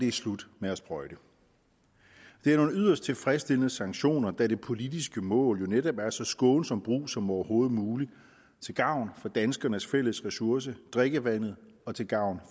er slut med at sprøjte det er nogle yderst tilfredsstillende sanktioner da det politiske mål jo netop er så skånsom brug som overhovedet muligt til gavn for danskernes fælles ressource drikkevandet og til gavn